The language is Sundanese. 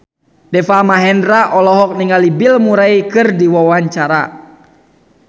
Deva Mahendra olohok ningali Bill Murray keur diwawancara